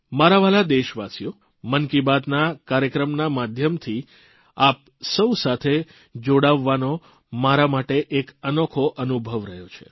મારા વ્હાલા દેશવાસીઓ મન કી બાત ના કાર્યક્રમના માધ્યમથી આપ સૌ સાથે જોડાવવાનો મારા માટે એક અનોખો અનુભવ રહ્યો છે